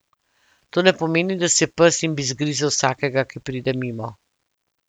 To ne pomeni, da si pes in bi zgrizel vsakega, ki pride mimo.